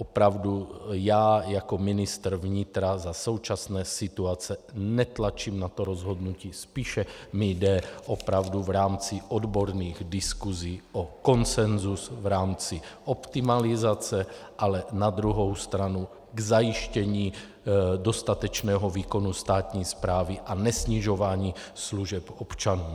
Opravdu já jako ministr vnitra za současné situace netlačím na to rozhodnutí, spíše mi jde opravdu v rámci odborných diskusí o konsenzus v rámci optimalizace, ale na druhou stranu k zajištění dostatečného výkonu státní správy a nesnižování služeb občanům.